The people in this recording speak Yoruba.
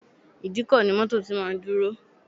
Ìdíkọ̀ ni mọ́tọ̀ tí máa ń dúró.